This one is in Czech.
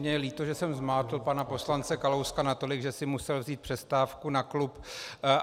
Mně je líto, že jsem zmátl pana poslance Kalouska natolik, že si musel vzít přestávku na klub.